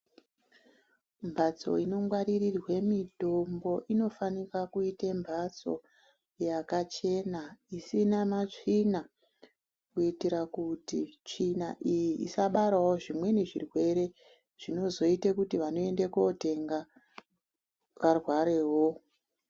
Mbatso inongwaririrwe mutombo inofanika kuite mbatso yakachena isina matsvina kuitira kuti tsvina iyi isabarawo zvimweni zvirwere zvinozoita kuti vanoende kotenga varwarewo.